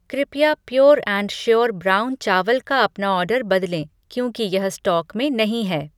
कृपया pure and sure brown चावल का अपना ऑर्डर बदलें क्योंकि यह स्टॉक में नहीं है।